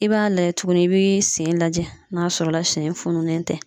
I b'a lajɛ tuguni , i bi sen lajɛ n'a sɔrɔla sen fununen tɛ.